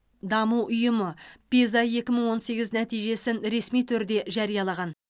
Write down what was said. даму ұйымы пиза ек мың он сегіз нәтижесін ресми түрде жариялаған